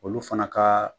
Olu fana ka